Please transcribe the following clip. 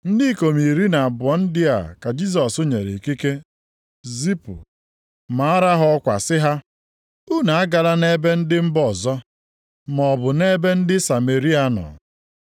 Ndị ikom iri na abụọ ndị a ka Jisọs nyere ikike zipụ. Maara ha ọkwa sị ha: “Unu agala nʼebe ndị mba ọzọ, maọbụ nʼebe ndị Sameria nọ.